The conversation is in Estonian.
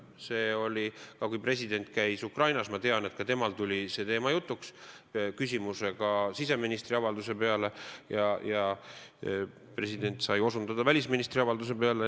Ma tean, et kui president käis Ukrainas, siis ka temal tuli see teema jutuks, küsiti siseministri avalduse kohta, ja president sai osutada välisministri avaldusele.